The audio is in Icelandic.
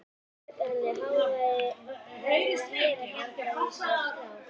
Bjarga henni? hváir hann og heyrir hjartað í sér slá.